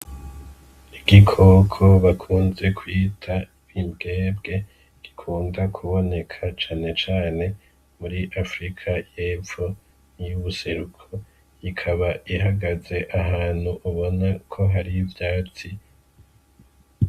Igikoko bakunze kwita bimbwebwe rikunda kuboneka canecane muri afrika y'epfo 'y'ubuseruko ikaba ihagaze ahantu ubona ko hario ivyatsi.